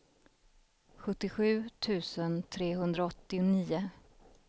sjuttiosju tusen trehundraåttionio